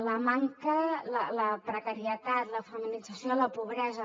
la precarietat la feminització de la pobresa